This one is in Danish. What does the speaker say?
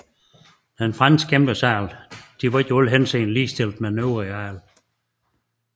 Den franske embedsadel var ikke i alle henseender ligestillet med den øvrige adel